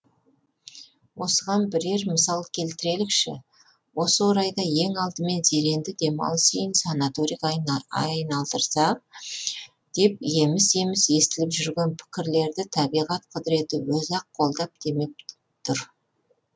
осыған бірер мысал келтірелікші осы орайда ең алдымен зеренді демалыс үйін санаторийге айналдырсақ деп еміс еміс естіліп жүрген пікірлерді табиғат құдіреті өзі ақ колдап демеп тұр